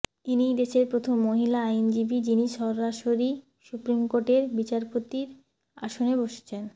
ইনিই দেশের প্রথম মহিলা আইনজীবী যিনি সরাসরি সুপ্রিমকোর্টের বিচারপতির আসনে বসছেন